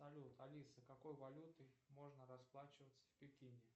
салют алиса какой валютой можно расплачиваться в пекине